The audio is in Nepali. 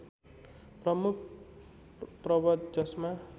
प्रमुख पर्वत जसमा